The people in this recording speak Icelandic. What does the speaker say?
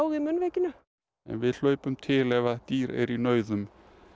í munnvikinu við hlaupum til ef að dýr eru í nauðum